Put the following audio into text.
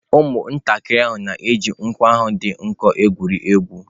Ụmụntakịrị ahụ na-eji nkwọ ahụ dị nkọ egwuri egwu.